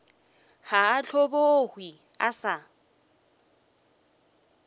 ga a hlobogwe a sa